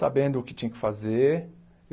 sabendo o que tinha que fazer.